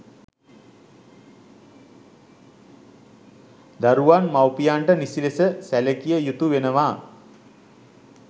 දරුවන් මවුපියන්ට නිසි ලෙස සැලකිය යුතු වෙනවා.